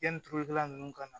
Yanni tulukɛla nunnu ka na